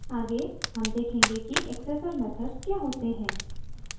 आगे हम देखेंगे कि accessor methods क्या होते हैं